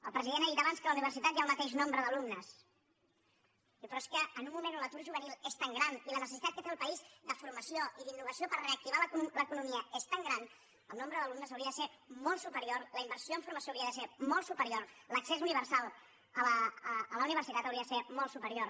el president ha dit abans que a la universitat hi ha el mateix nombre d’alumnes però és que en un moment on l’atur juvenil és tan gran i la necessitat que té el país de formació i d’innovació per reactivar l’economia és tan gran el nombre d’alumnes hauria de ser molt superior la inversió en formació hauria de ser molt superior l’accés universal a la universitat hauria de ser molt superior